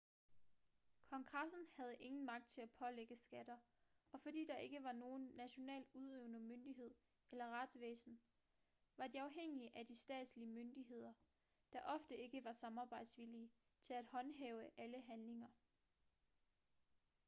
kongressen havde ingen magt til at pålægge skatter og fordi der ikke var nogen national udøvende myndighed eller retsvæsen var de afhængige af de statslige myndigheder der ofte ikke var samarbejdsvillige til at håndhæve alle handlinger